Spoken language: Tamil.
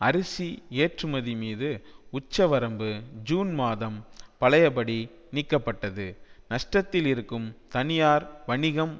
அரிசி ஏற்றுமதி மீது உச்சவரம்பு ஜூன் மாதம் பழையபடி நீக்கப்பட்டது நஷ்டத்தில் இருக்கும் தனியார் வணிகம்